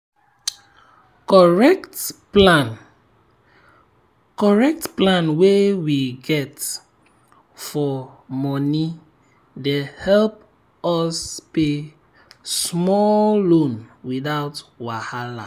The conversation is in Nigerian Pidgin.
correct plan correct plan wey we get for moni dey help us pay small loan without wahala.